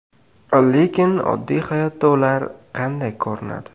Lekin oddiy hayotda ular qanday ko‘rinadi?